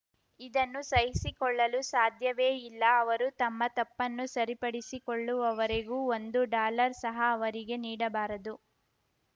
ಇದನ್ನು ಸಹಿಸಿಕೊಳ್ಳಲು ಸಾಧ್ಯವೇ ಇಲ್ಲ ಅವರು ತಮ್ಮ ತಪ್ಪನ್ನು ಸರಿಪಡಿಸಿಕೊಳ್ಳುವವರೆಗೂ ಒಂದು ಡಾಲರ್‌ ಸಹ ಅವರಿಗೆ ನೀಡಬಾರದು